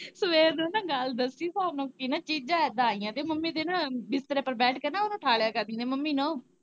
ਸਵੇਰ ਦੀ ਨਾ ਗੱਲ ਦੱਸੀ ਸਾਨੂੰ ਕਿ ਨਾ ਚੀਜਾਂ ਇਦਾ ਆਈਆ ਤੇ ਮੰਮੀ ਦੇ ਨਾ ਬਿਸਤਰੇ ਓੱਪਰ ਬੈਠ ਕੇ ਨਾ ਓਨਾਂ ਠਾਲਿਆ ਕਰਦੀਆਂ, ਮੰਮੀ ਨਾ ਓ।